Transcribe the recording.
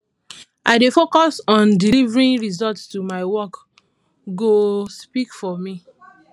i dey focus on delivering results so my work go speak for me